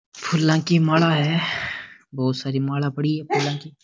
फूला की माला है बहुत सारी माला पड़ी है फूला की।